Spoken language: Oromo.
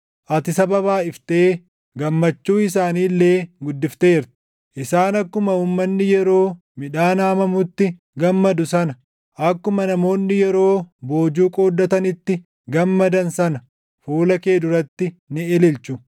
Ati saba baayʼiftee gammachuu isaanii illee guddifteerta; isaan akkuma uummanni yeroo midhaan haamamutti gammadu sana, akkuma namoonni yeroo boojuu qooddatanitti gammadan sana fuula kee duratti ni ililchu.